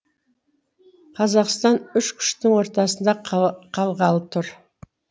қазақстан үш күштің ортасында қалғалы тұр